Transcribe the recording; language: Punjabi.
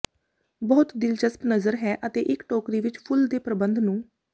ਬਹੁਤ ਦਿਲਚਸਪ ਨਜ਼ਰ ਹੈ ਅਤੇ ਇੱਕ ਟੋਕਰੀ ਵਿੱਚ ਫੁੱਲ ਦੇ ਪ੍ਰਬੰਧ ਨੂੰ